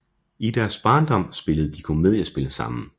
I deres barndom spillede de komediespil sammen